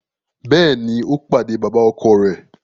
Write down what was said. Béèni, o pàdé baba-ọkọ rẹ